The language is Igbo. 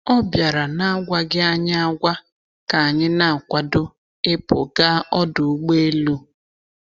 Ọ bịara n’agwaghị anyị agwa ka anyị na-akwado ịpụ gaa ọdụ ụgbọ elu.